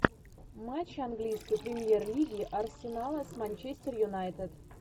матч английской премьер лиги арсенала с манчестер юнайтед